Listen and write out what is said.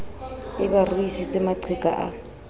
e ba ruisitse maqheka a